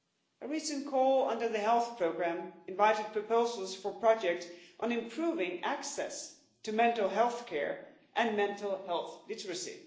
A recent call under the health programme invited proposals for projects on improving access to mental health care and mental health literacy.